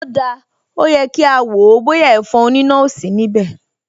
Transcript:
O dáa, ó yẹ kí a wò ó bóyá ẹ̀fọn oníná ò sí níbẹ̀ mọ́